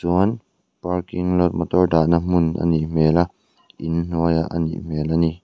parking lot motor dahna hmun a nih hmel a inhnuaiah anih hmel a ni.